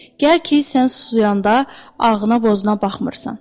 Gəl ki, sən susayanda ağına bozuna baxmırsan.